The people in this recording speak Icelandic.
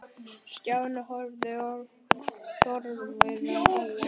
Stjáni horfði forviða á hann.